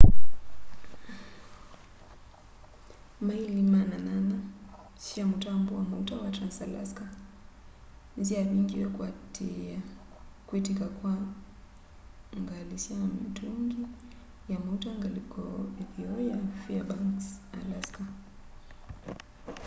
maĩli 800 sya mũtambo wa maũta wa trans-alaska nĩsyavingĩwe kũatĩĩa kwĩtĩka kwa ngili sya mĩtũngĩ ya maũta ngalĩko ĩtheo ya faĩrbanks alaska